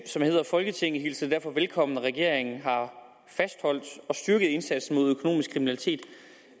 folketinget hilser det derfor velkommen at regeringen har fastholdt og styrket indsatsen mod økonomisk kriminalitet